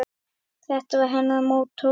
Þetta var hennar mottó.